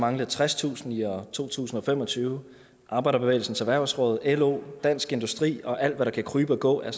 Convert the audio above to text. mangle tredstusind i år to tusind og fem og tyve arbejderbevægelsens erhvervsråd lo dansk industri og alt hvad der kan krybe og gå er